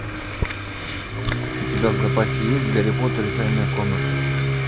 у тебя в запасе есть гарри поттер и тайная комната